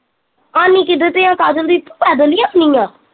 ਆਉਣੀ ਕਿਦੇ ਤੇ ਆ ਕਾਜਲ ਦੀਦੀ ਤੂੰ ਪੈਦਲ ਈ ਆਉਣੀ ਆ